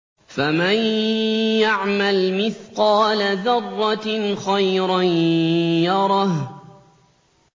فَمَن يَعْمَلْ مِثْقَالَ ذَرَّةٍ خَيْرًا يَرَهُ